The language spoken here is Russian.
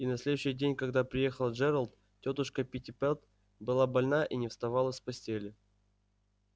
и на следующий день когда приехал джералд тётушка питтипэт была больна и не вставала с постели